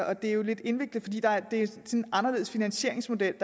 og det er jo lidt indviklet fordi der er en anderledes finansieringsmodel